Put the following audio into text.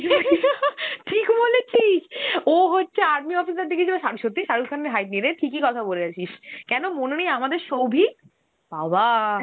ঠিক বলেছিস, ও হচ্ছে army officer দেখিয়েছিল, শা~ সত্যি শারুখ খানের height নেই রে, ঠিকই কথে বলেছিস. কেনো মনে নেই আমাদের সৌভিক. বাবা!